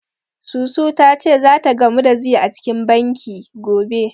Susu ta ce zata gamu da Zee a cikin banki, gobe.